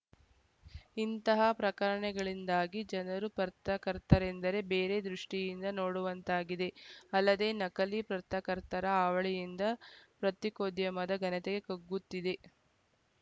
ಇಂತಹ ಪ್ರಕರಣಗಳಿಂದಾಗಿ ಜನರು ಪತ್ರಕರ್ತರೆಂದರೆ ಬೇರೆ ದೃಷ್ಟಿಯಿಂದ ನೋಡುವಂತಾಗಿದೆ ಅಲ್ಲದೆ ನಕಲಿ ಪತ್ರಕರ್ತರ ಹಾವಳಿಯಿಂದ ಪತ್ರಿಕೋದ್ಯಮದ ಘನತೆಯೇ ಕುಗ್ಗುತ್ತಿದೆ